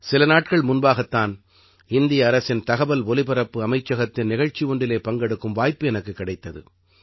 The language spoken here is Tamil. சில நாட்கள் முன்பாகத் தான் இந்திய அரசின் தகவல் ஒலிபரப்பு அமைச்சகத்தின் நிகழ்ச்சி ஒன்றிலே பங்கெடுக்கும் வாய்ப்பு எனக்குக் கிடைத்தது